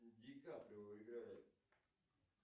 ди каприо играет